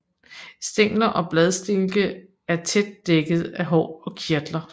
Stængler og bladstilke er tæt dækket af hår og kirtler